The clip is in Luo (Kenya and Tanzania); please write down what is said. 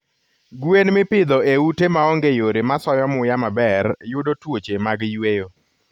Gwen mipidho e ute maonge yore masoyo muya maber yudo tuoche mag yweyo